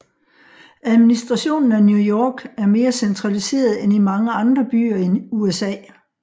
Administrationen af New York er mere centraliseret end i mange andre byer i USA